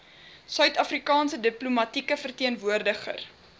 suidafrikaanse diplomatieke verteenwoordiger